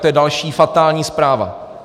To je další fatální zpráva.